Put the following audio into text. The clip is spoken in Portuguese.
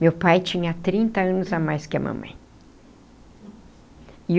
Meu pai tinha trinta anos a mais que a mamãe e o.